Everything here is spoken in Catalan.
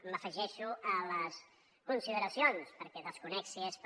m’afegeixo a les consideracions perquè desconec si és per